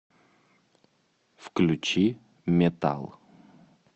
включи метал